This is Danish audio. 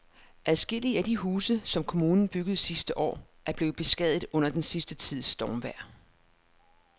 Adskillige af de huse, som kommunen byggede sidste år, er blevet beskadiget under den sidste tids stormvejr.